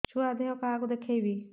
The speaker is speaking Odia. ଛୁଆ ଦେହ କାହାକୁ ଦେଖେଇବି